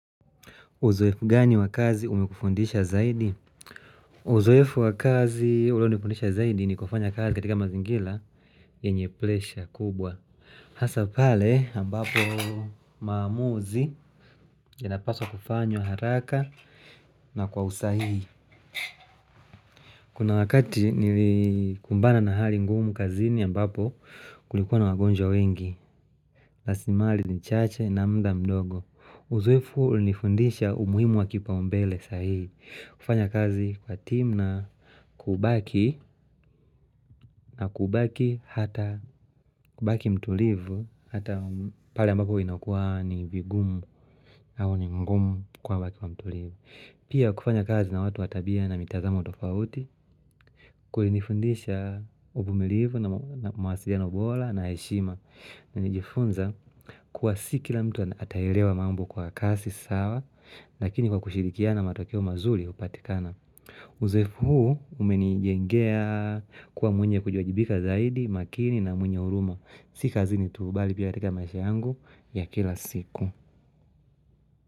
Uzoefu gani wakazi umekufundisha zaidi? Uzoefu wakazi ulio nifundisha zaidi ni kufanya kazi katika mazingila yenyeplesha kubwa. Hasapale ambapo maamuzi ya napaswa kufanywa haraka na kwa usahihi Kuna wakati nilikumbana na hali ngumu kazini ambapo kulikuwa na wagonjwa wengi. Lasimali ni chache na mda mdogo. Uzoefu ulinifundisha umuhimu wa kipa umbele zaidi. Kufanya kazi kwa tim na kubaki na kubaki hata kubaki mtulivu hata pale ambapo inakuwa ni vigumu au ni ngumu kwa watu wa mtulivu Pia kufanya kazi na watu watabia na mitazamo tofauti kulinifundisha uvumilivu na mawa mawasiliano bola na heshima na nijifunza kuwa sikila mtu ataerewa mambo kwa kasi sawa lakini kwa kushirikia na matokeo mazuri hupatikana Uzoefu huu umeni jengea kuwa mwenye kujua jibika zaidi makini na mwenye uruma Sika zini tu bali pia katuka maishangu ya kila siku.